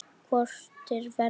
Hvort er verra?